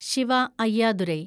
Shiva Ayyadurai